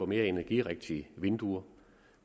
mere energirigtige vinduer